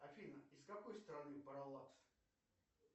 афина из какой страны паралакс